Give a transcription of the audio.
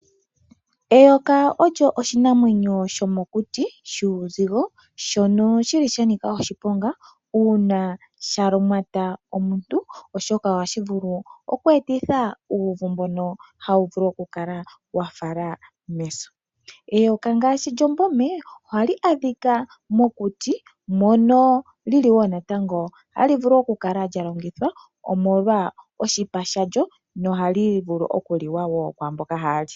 Eyoka olyo oshinamwenyo shomukyi shuuzigo shono shili sha nika oshiponga uuna sha lumata omuntu oshoka ohashi vulu okweetitha uuvu mbono hawu vulu oku kala wafala meso. Eyoka ngaashi lyOmbome oha li adhika mokuti mono lili Woo natango hali vulu okukala omolwa oshipa shalyo no hali vulu okuliwa woo kwamboka haali.